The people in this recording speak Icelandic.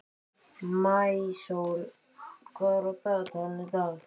Maísól, hvað er á dagatalinu í dag?